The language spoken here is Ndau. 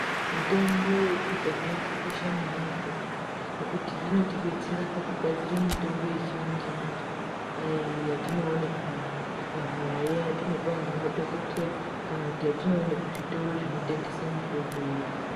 Mitombo yekudhaya yakakosha maningi ngokuti inotibestera pakugadzire mitombo yechimanjemanje yatinoone kumadhokodheya yatinopuwe ngemadhokodheya kana kuti yatinoone kuzvitoro zvinotengese mitombo iya.